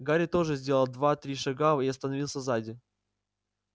гарри тоже сделал два-три шага и остановился сзади